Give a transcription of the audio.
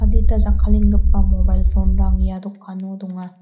adita jakkalenggipa mobail phone-rang ia dokano donga.